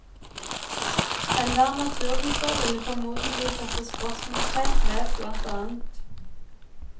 Enhver naturviter ville formodentlig sette spørsmålstegn ved bl.